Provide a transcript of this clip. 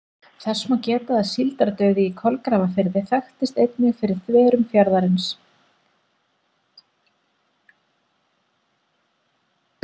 Þess má geta að síldardauði í Kolgrafafirði þekktist einnig fyrir þverun fjarðarins.